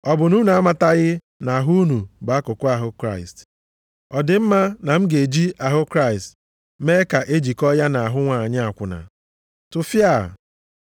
Ọ bụ na unu amataghị na ahụ unu bụ akụkụ ahụ Kraịst? Ọ dị mma na m ga-eji ahụ Kraịst mee ka e jikọtaa ya na ahụ nwanyị akwụna? Tụfiaa!